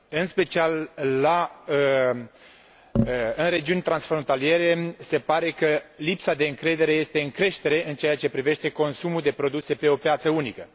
În special în regiuni transfrontaliere, se pare că lipsa de încredere este în creștere în ceea ce privește consumul de produse pe o piață unică.